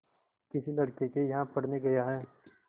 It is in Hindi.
किसी लड़के के यहाँ पढ़ने गया है